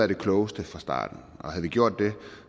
det klogeste fra starten havde vi gjort det